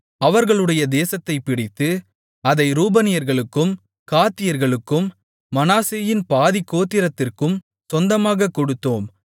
அவர்களுடைய தேசத்தைப் பிடித்து அதை ரூபனியர்களுக்கும் காத்தியர்களுக்கும் மனாசேயின் பாதிக் கோத்திரத்திற்கும் சொந்தமாகக் கொடுத்தோம்